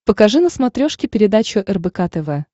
покажи на смотрешке передачу рбк тв